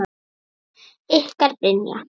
Ykkar Brynja.